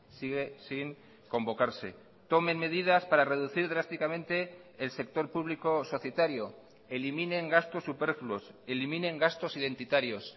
sigue sin convocarse tomen medidas para reducir drásticamente el sector público o societario eliminen gastos superfluos eliminen gastos identitarios